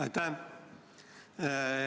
Aitäh!